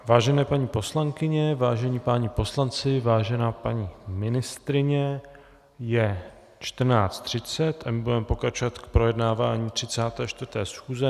Vážené paní poslankyně, vážení páni poslanci, vážená paní ministryně, je 14.30 a my budeme pokračovat v projednávání 34. schůze.